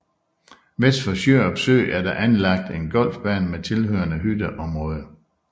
Vest for Sjørup Sø er der anlagt en golfbane med tilhørende hytteområde